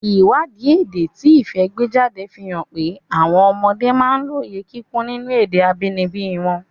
Ìwádìí èdè tí Ifẹ̀ gbé jáde fi hàn pé àwọn ọmọdé máa ń lóye kíkún nínú èdè abínibí wọn.